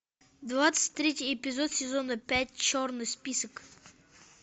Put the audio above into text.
двадцать третий эпизод сезона пять черный список